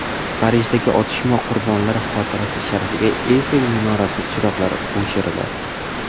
Parijdagi otishma qurbonlari xotirasi sharafiga Eyfel minorasi chiroqlari o‘chiriladi.